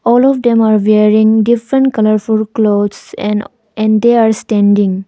All of them are wearing different colourful clothes and and they are standing.